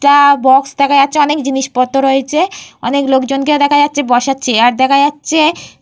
একটা বাক্স দেখা যাচ্ছে। অনেক জিনিসপত্র রয়েছে। অনেক লোকজনকে দেখা যাচ্ছে। বসার চেয়ার দেখা যাচ্ছে।